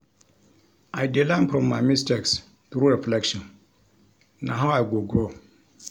I dey learn from my mistakes through reflection; na how I go grow.